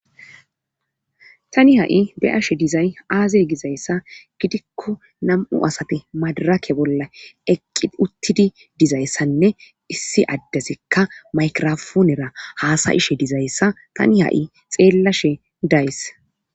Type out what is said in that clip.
tani ha7i beashe dizay aaze gizayssa gidikko nam7u asate madarake bolla eqqi uttidi dizayssanne issi addesekka maykirafoonera haasayishe dizayssa tani ha7i xeellashe days